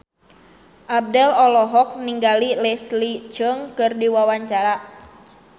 Abdel olohok ningali Leslie Cheung keur diwawancara